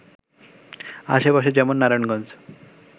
আশেপাশে যেমন নারায়ণগঞ্জ